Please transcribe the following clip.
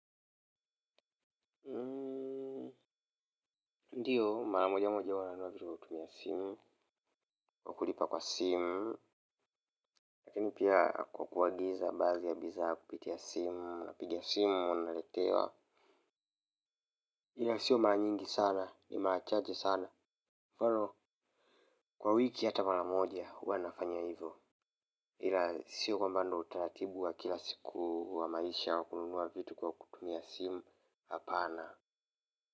Ndiyo, mara moja moja huwa nanunua vitu kwa kutumia simu, kwa kulipa kwa simu, lakini pia kwa kuagiza baadhi ya bidhaa kupitia simu, napiga simu naletewa, ila sio mara nyingi sana, ni mara chache sana, mfano kwa wiki hata mara moja huwa nafanya hivyo, ila sio kwamba ndio utaratibu wa kila siku wa maisha wa kununua vitu kwa kutumia simu hapana.